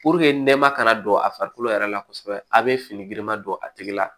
nɛma kana don a farikolo yɛrɛ la kosɛbɛ a bɛ fini girima don a tigi la